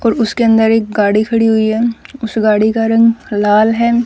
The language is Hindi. और उसके अंदर एक गाड़ी खड़ी हुई है उस गाड़ी का रंग लाल है।